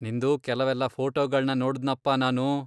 ನಿಂದು ಕೆಲ್ವೆಲ್ಲ ಫೋಟೋಗಳ್ನ ನೋಡ್ದ್ನಪ ನಾನು.